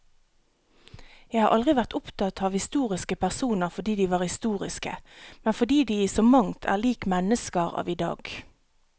Jeg har aldri vært opptatt av historiske personer fordi de var historiske, men fordi de i så mangt er lik mennesker av i dag.